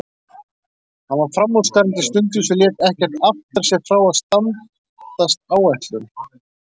Hann var framúrskarandi stundvís og lét ekkert aftra sér frá að standast áætlun.